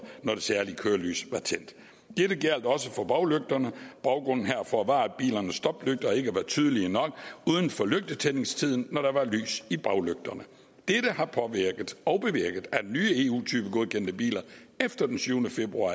når det særlige kørelys var tændt dette gjaldt også for baglygterne og baggrunden herfor var at bilernes stoplygter ikke var tydelige nok uden for lygtetændingstiden når der var lys i baglygterne dette har påvirket og bevirket at nye eu typegodkendte biler efter den syvende februar